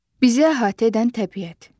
Bizə əhatə edən təbiət.